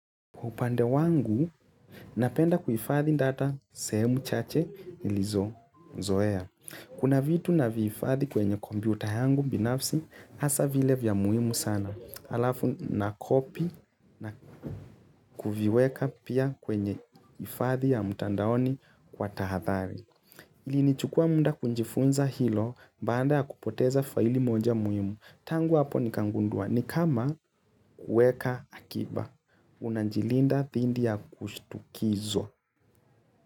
Kwa upande wangu, napenda kuhifadhi data sehemu chache nilizozoea. Kuna vitu navihifadhi kwenye kompyuta yangu binafsi, hasa vile vya muhimu sana. Alafu nacopy na kuviiweka pia kwenye hifadhi ya mtandaoni kwa tahathari. Ilinichukua muda kujifunza hilo, baada ya kupoteza faili moja muhimu. Tangu hapo ni kagundua, ni kama kuweka akiba. Unajilinda dhindi ya kushitukizwa.